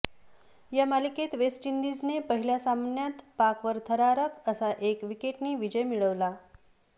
या मालिकेत वेस्ट इंडिजने पहिल्या सामन्यात पाकवर थरारक असा एक विकेटनी विजय मिळवला